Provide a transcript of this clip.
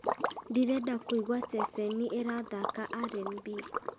ndĩrenda kũigua ceceni ĩrathaaka r n b